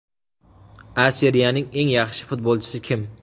A Seriyaning eng yaxshi futbolchisi kim?